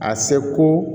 A seko